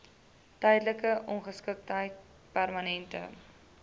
tydelike ongeskiktheid permanente